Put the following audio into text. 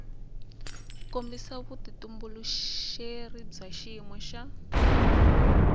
kombisa vutitumbuluxeri bya xiyimo xa